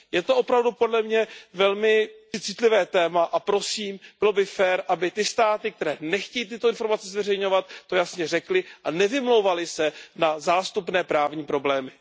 Je to opravdu podle mě velmi citlivé téma a prosím, bylo by fér, aby ty státy, které nechtějí tyto informace zveřejňovat, to jasně řekly a nevymlouvaly se na zástupné právní problémy.